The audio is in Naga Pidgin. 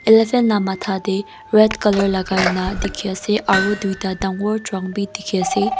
elephant la mata dae red colour lagai na diki asae aro tuita dangor trunk bi diki asae.